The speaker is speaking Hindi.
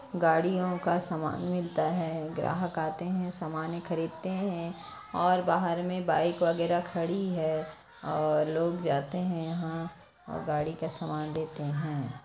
गाडियों का सामान मिलता है ग्राहक आते है सामने खरीदते है और बाहर में बाइक वगैरह खड़ी है और लोग जाते है यहाँ और गाड़ी का समान देते हैं।